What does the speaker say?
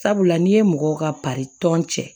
Sabula n'i ye mɔgɔw ka tɔn cɛ